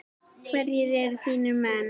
Hverjir eru þínir menn?